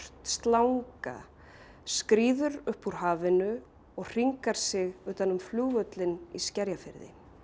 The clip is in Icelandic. slanga skríður upp úr hafinu og hringar sig utan um flugvöllinn í Skerjafirði